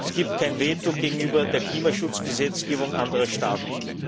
Es gibt kein Veto gegenüber der Klimaschutzgesetzgebung anderer Staaten.